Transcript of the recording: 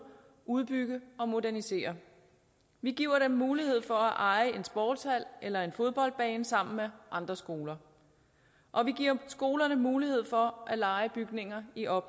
udbygge og modernisere vi giver dem mulighed for at eje en sportshal eller en fodboldbane sammen med andre skoler og vi giver skolerne mulighed for at leje bygninger i op